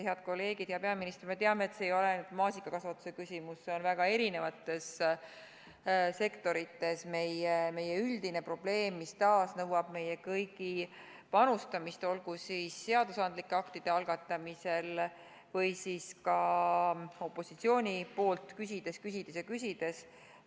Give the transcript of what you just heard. Head kolleegid, hea peaminister, me teame, et see ei ole ainult maasikakasvatuse küsimus, see on väga erinevates sektorites meie üldine probleem, mis taas nõuab meie kõigi panustamist, olgu siis seadusandlike aktide algatamisel või ka panust opositsioonilt, küsides, küsides ja küsides.